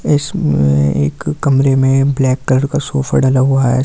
इसमे एक कमरे में ब्लैक कलर का सोफ़ा डाला हुआ है।